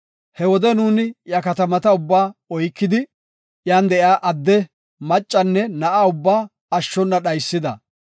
He wode nuuni iya katamata ubbaa oykidi, iyan de7iya adde, maccanne na7a ubbaa ashshona dhaysida.